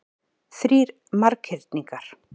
Þrír marghyrningar.